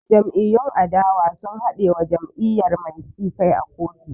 Jam'iyyun adawa sun haɗe wa jam'iyyar mai ci kai a kotu